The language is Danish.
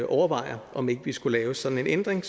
overvejer om ikke vi skulle lave sådan en ændring